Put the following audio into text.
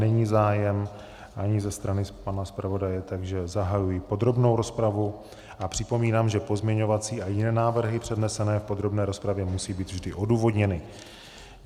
Není zájem, ani ze strany pana zpravodaje, takže zahajuji podrobnou rozpravu a připomínám, že pozměňovací a jiné návrhy přednesené v podrobné rozpravě musí být vždy odůvodněny.